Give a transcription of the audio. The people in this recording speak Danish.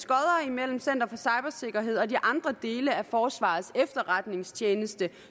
mellem center for cybersikkerhed og de andre dele af forsvarets efterretningstjeneste